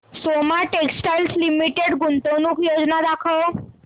Soma textile limited गुंतवणूक योजना दाखव